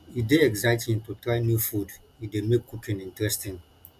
e dey exciting to try new food e dey make cooking interesting